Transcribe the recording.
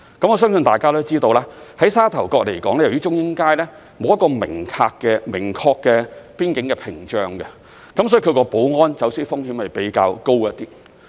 我相信大家都知道，就沙頭角而言，由於中英街沒有一個明確的邊境屏障，所以它的保安和走私風險較高。